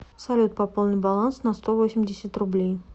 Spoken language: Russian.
салют пополни баланс на сто восемьдесят рублей